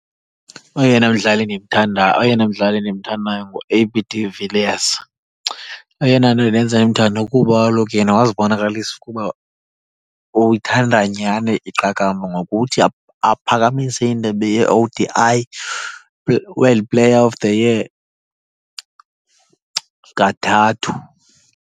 Oyena mdlali ndimthanda, oyena mdlali ndimthandayo nguA B De Villiers. Eyona nto indenza ndimthande kuba kaloku yena wazibonakalisa ukuba uyithanda nyani iqakamba ngokuthi aphakamise indebe ye-O_D_I World Player of The Year kathathu.